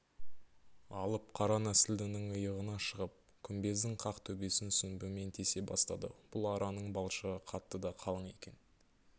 алып қара нәсілдінің иығына шығып күмбездің қақ төбесін сүмбімен тесе бастады бұл араның балшығы қатты да қалың екен